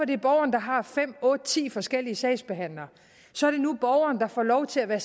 det er borgeren der har fem otte ti forskellige sagsbehandlere så er det nu borgeren der får lov til at være